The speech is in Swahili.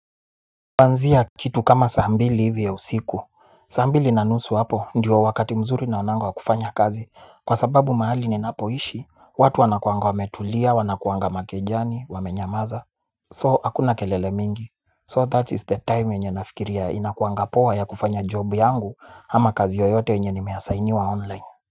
Kwanzia kitu kama sambili hivi ya usiku. Sambili na nusu hapo ndio wakati mzuri naonanga wa kufanya kazi. Kwa sababu mahali ninapoishi watu wanakuanga wa metulia wanakuanga makejani wamenyamaza So hakuna kelele mingi. So that is the time yenye nafikiria inakuanga poa ya kufanya job yangu ama kazi yoyote yenye nime assigniwa online.